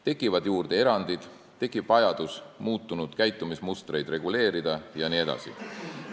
Tekivad juurde erandid, tekib vajadus muutunud käitumismustreid reguleerida jne.